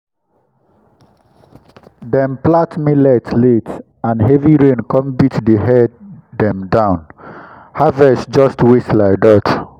dem plant millet late and heavy rain come beat the head dem down—harvest just waste like that.